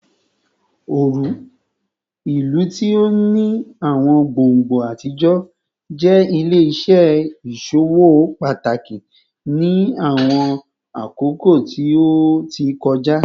Oru, ilu ti o ni awọn gbongbo atijọ, jẹ ile-iṣẹ iṣowo pataki ni awọn akoko ti o ti kọja